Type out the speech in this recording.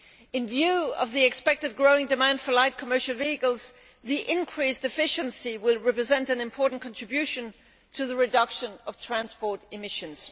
In view of the expected growing demand for light commercial vehicles, the increased efficiency will represent an important contribution to the reduction of transport emissions.